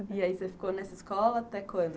E aí, você ficou nessa escola até quando?